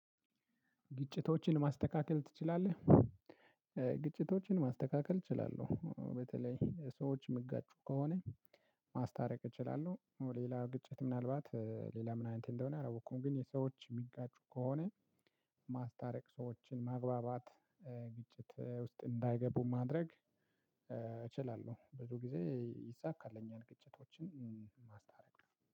ግጭቶችን ማስተካከል ትችላለህ? ግጭቶችን ማስተካከል እችላለሁ በተለይ ሰዎች እሚጋጩ ከሆነ ማስታረቅ እችላለሁ። ሌላ ግጭት ምናልባት ሌላ ምን አይነት እንደሆነ አላወቅኩም። ግን የሰዎች የሚንቃጩ ከሆነ ማስታረቅ ሰዎችን ማግባባት። ግጭት ውስጥ እንዳይገቡ ማድረግ እችላለሁ። ብዙ ጊዜ ይሳካልኛል። ግጭቶችን ማስታረቅ